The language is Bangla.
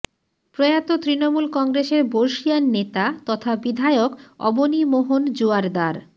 প্রয়াত তৃণমূল কংগ্রেসের বর্ষীয়ান নেতা তথা বিধায়ক অবনী মোহন জোয়ারদার